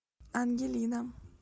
ангелина